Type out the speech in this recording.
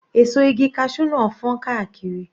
Èso igi cashew náà fọ́n káàkiri.